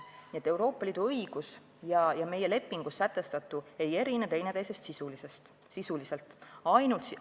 Nii et Euroopa Liidu õigus ja meie lepingus sätestatu teineteisest sisuliselt ei erine.